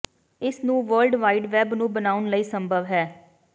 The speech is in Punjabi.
ਇਸ ਨੂੰ ਵਰਲਡ ਵਾਈਡ ਵੈੱਬ ਨੂੰ ਬਣਾਉਣ ਲਈ ਸੰਭਵ ਹੈ